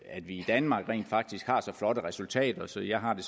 at vi i danmark rent faktisk har så flotte resultater så jeg har det